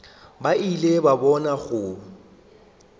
ba ile ba bona go